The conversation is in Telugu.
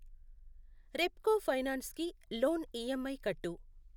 రెప్కో ఫైనాన్స్ కి లోన్ ఈఎంఐ కట్టు.